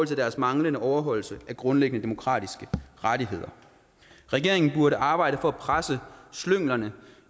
deres manglende overholdelse af grundlæggende demokratiske rettigheder regeringen burde arbejde for at presse slynglerne